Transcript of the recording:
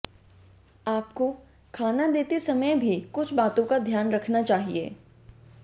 आपको खाना देते समय भी कुछ बातों का ध्यान रखना चाहिए